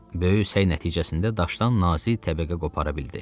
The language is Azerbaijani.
Böyük səy nəticəsində daşdan nazik təbəqə qopara bildi.